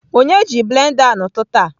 Onye ji blender a n'ụtụtụ a?